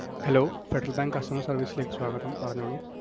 hello Federal Bank customer service ലേക്ക് സ്വാഗതം. പറഞ്ഞോളൂ